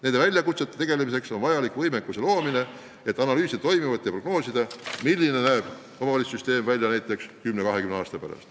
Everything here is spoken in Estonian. Nende väljakutsetega tegelemiseks tuleb luua võimekus, et analüüsida toimuvat ja prognoosida, milline näeb omavalitsussüsteem välja kümne-kahekümne aasta pärast.